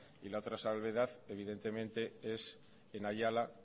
y la otra salvedad evidentemente es en ayala